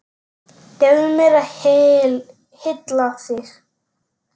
Leyfðu mér að hylla þig.